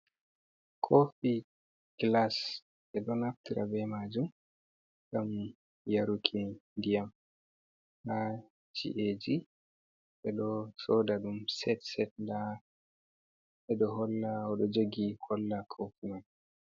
Kofi glass e ɗo naftira be majum gam yaruki diyam ha chieji, eɗo soda ɗum sed sed nda eɗo holla oɗo jogi holla kofi mai.